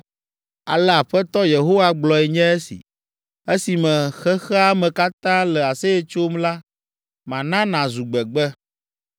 Ale Aƒetɔ Yehowa gblɔe nye esi, “Esime xexea me katã le aseye tsom la, mana nàzu gbegbe.